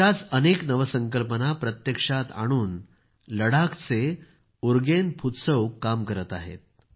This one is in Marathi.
अशाच अनेक नवसंकल्पना प्रत्यक्षात आणून लडाखचे उरगेन फुत्सौग काम करीत आहेत